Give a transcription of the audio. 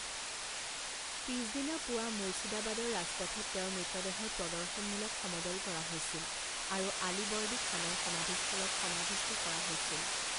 পিছদিনা পুৱা মুৰ্ছিদাবাদৰ ৰাজপথত তেওঁৰ মৃতদেহৰ প্ৰদৰ্শনমূলক সমদল কৰা হৈছিল আৰু আলিবৰ্দী খানৰ সমাধিস্থলত সমাধিস্থ কৰা হৈছিল।